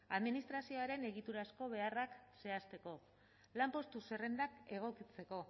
administrazioaren egiturazko beharrak zehazteko lanpostu zerrendak egokitzeko